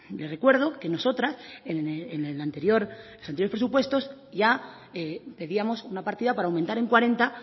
le recuerdo que nosotras en los anteriores presupuestos ya pedíamos una partida para aumentar en cuarenta